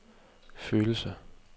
følelser